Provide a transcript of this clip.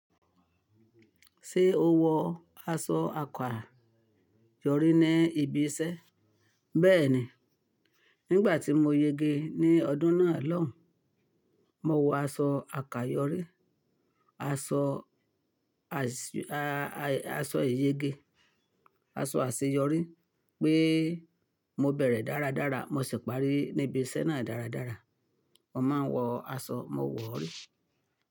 Ṣé o wọ aṣọ àkàyọrí ní ibi iṣẹ́? Bẹ́ẹ̀ni, nígbà tí mo yege ní ọdún náà lọ́hùn, mo wọ aṣọ àkàyọrí, aso iyege. Aṣọ àṣeyọrí pé mo bẹ̀rẹ̀ dáradára, mo sì parí níbi iṣẹ́ náà dáradára. Mo máa ń wọ aṣọ, mo wọ̀ rí.